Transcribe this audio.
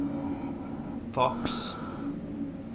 faks